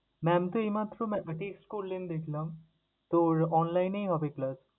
Mam তো এইমাত্র মাত্র আহ text করলেন দেখলাম, তোর online এই হবে class ।